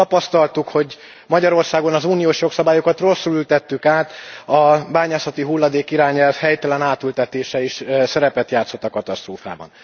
Azt tapasztaltuk, hogy Magyarországon az uniós jogszabályokat rosszul ültettük át, a bányászati hulladék irányelv helytelen átültetése is szerepet játszott a katasztrófában.